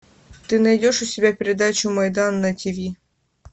ты найдешь у себя передачу майдан на ти ви